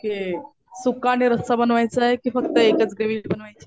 Okay. सुकं आणि रस्सा बनवायचाय कि फक्त एकच ग्रेव्ही बनवायची?